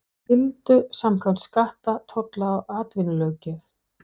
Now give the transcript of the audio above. skyldu samkvæmt skatta-, tolla- og atvinnulöggjöf.